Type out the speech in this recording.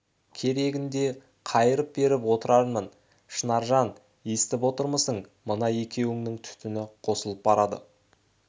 керегінде қайырып беріп отырармын шынаржан естіп отырмысың мына екеуінің түтіні қосылып барады